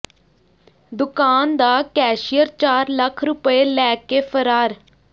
ਦੁਕਾਨ ਦਾ ਕੈਸ਼ੀਅਰ ਚਾਰ ਲੱਖ ਰੁਪਏ ਲੈ ਕੇ ਫ਼ਰਾਰ